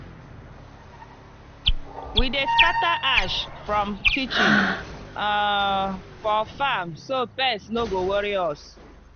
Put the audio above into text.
we dey scatter ash from kitchen um for farm so pest no go worry us.